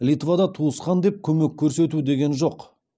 литвада туысқан деп көмек көрсету деген жоқ